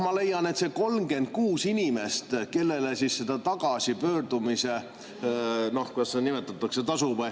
Ma leian, et see 36 inimest, kellele seda tagasipöördumise – või kuidas seda nimetatakse?